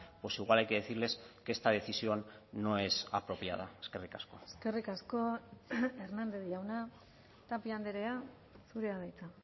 pues igual hay que decirles que esta decisión no es apropiada eskerrik asko eskerrik asko hernández jauna tapia andrea zurea da hitza